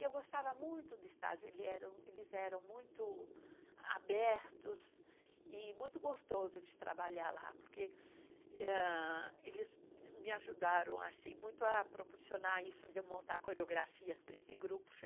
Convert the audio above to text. E eu gostava muito do estágio, ele era, eles eram muito abertos e muito gostoso de trabalhar lá, porque ah, eles me ajudaram assim, muito a proporcionar isso de eu montar coreografias para esse grupo.